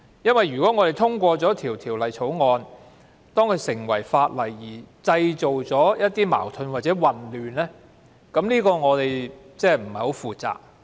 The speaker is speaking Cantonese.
如果《條例草案》在通過成為法例後會製造一些矛盾或混亂，這樣我們便太不負責任了。